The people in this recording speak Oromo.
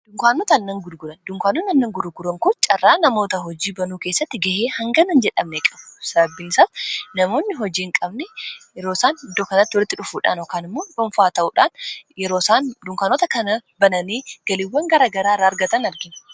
dunkaanoota aannan gurguran kun carraa namoota hojii banuu keessatti ga'ee hangana hin jedhamne qabu sababbiinsaas namoonni hojii hin qabne yeroosaan dunkanatti walitti dhufuudhaan kaan immoon dhuunfaa ta'uudhaan dunkaanota kana bananii galiiwwan gara garaa irra argatan argina